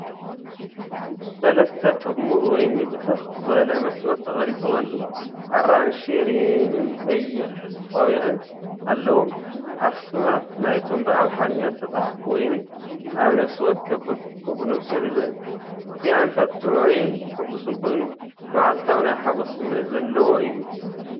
ሰለስተ ጠራሙዝ ወይኒ ብትኽ ዝበለ መስመር ተቐሪጾም ኣለዉ። ኣራንሺ ሪምን ቀይሕ ቆቢዕን ኣለዎም። ኣስማት ናይቶም ብኣምሓርኛ ዝተጻሕፉ ወይኒ ኣብ ነፍሲ ወከፍ ብርጭቆ ብንጹር ይርአ። እቲ ኣንፈት ጥዑይን ሕጉስን ኮይኑ፡ መዓልታዊ ናይ ሓጎስ ስምዒት ዘለዎ እዩ።